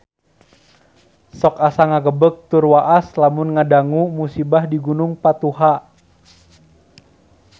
Sok asa ngagebeg tur waas lamun ngadangu musibah di Gunung Patuha